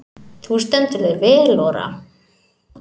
Þú stendur þig vel, Ora!